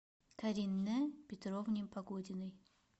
каринэ петровне погодиной